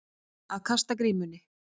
Að kasta grímunni